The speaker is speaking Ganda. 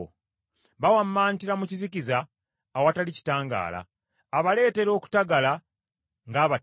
Bawammantira mu kizikiza awatali kitangaala; abaleetera okutagala ng’abatamiivu.”